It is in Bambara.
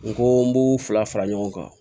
N ko n b'u fila fara ɲɔgɔn kan